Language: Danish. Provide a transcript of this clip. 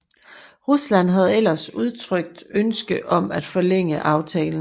Rusland havde ellers udtrykt ønske om at forlænge aftalen